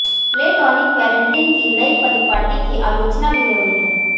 platonic parenting की नई परिपाटी की आलोचना भी हो रही है